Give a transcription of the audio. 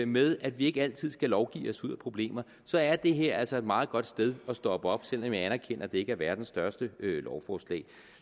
med at vi ikke altid skal lovgive os ud af problemer så er det her altså et meget godt sted at stoppe op selv om jeg anerkender at det ikke er verdens største lovforslag